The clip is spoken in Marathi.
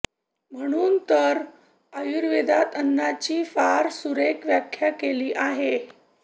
म्हणून तर आयुर्वेदात अन्नाची फार सुरेख व्याख्या केली आहे